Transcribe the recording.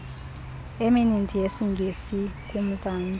emininzi yesingesi kumzantsi